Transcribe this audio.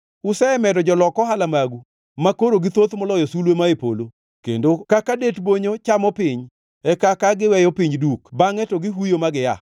Usemedo jolok ohala magu, makoro githoth moloyo sulwe ma e polo, kendo kaka det bonyo chamo piny, e kaka giweyo piny duk bangʼe to gihuyo ma gia.